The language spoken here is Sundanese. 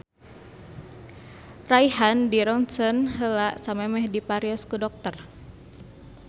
Raihan dirontgen heula samemeh di parios ku dokter